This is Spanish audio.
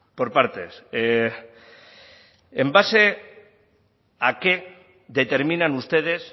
por partes en base a qué determinan ustedes